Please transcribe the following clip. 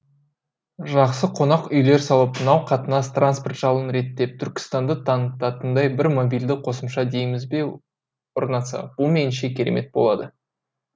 жақсы қонақ үйлер салып мынау қатынас транспорт жағын реттеп түркістанды танытатындай бір мобильді қосымша дейміз бе орнатса бұл меніңше керемет болады